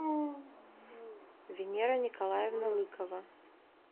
венера николаевна лыкова